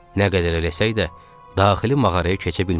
Nə qədər eləsək də, daxili mağaraya keçə bilmədik.